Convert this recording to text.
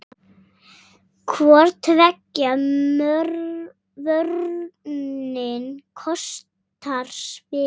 Hvor tveggja vörnin kostar spilið.